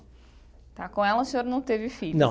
Tá, com ela o senhor não teve filho. Não.